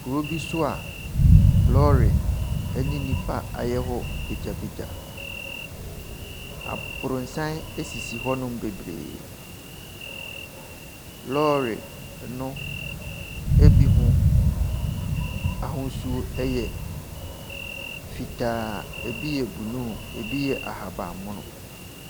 Kuro bi so a lɔɔre ne nnipa ayɛ hɔ bagyabagya. Abrɔsan sisi hɔnom bebree. Lɔɔre no ebi ho ahosu yɛ fitaa. Ebi yɛ blue, ebi yɛ ahabanmono.